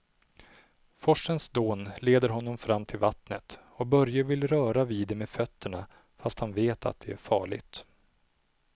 Forsens dån leder honom fram till vattnet och Börje vill röra vid det med fötterna, fast han vet att det är farligt.